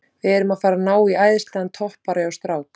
Við erum að fara að ná í æðislegan toppara hjá strák